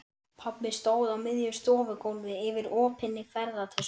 Pabbi stóð á miðju stofugólfi yfir opinni ferðatösku.